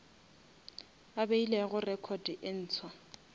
a beilego record e ntshwa